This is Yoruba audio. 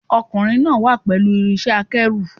Ọkùnrin náà wà pẹ̀lú irinṣẹ́-akẹ́rù.